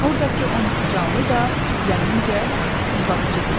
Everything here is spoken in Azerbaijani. Ordakı 12 canlı da, zənnimcə, iclasçıdırlar.